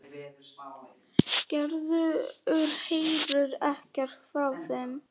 Gerður heyrir ekkert frá þeim.